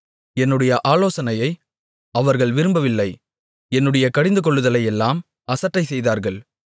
என்னுடைய ஆலோசனையை அவர்கள் விரும்பவில்லை என்னுடைய கடிந்துகொள்ளுதலையெல்லாம் அசட்டை செய்தார்கள்